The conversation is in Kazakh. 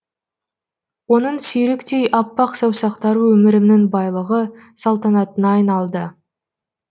оның сүйріктей аппақ саусақтары өмірімнің байлығы салтанатына айналды